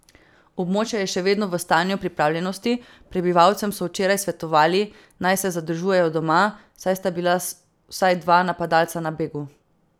Območje je še vedno v stanju pripravljenosti, prebivalcem so včeraj svetovali, naj se zadržujejo doma, saj sta bila vsaj dva napadalca na begu.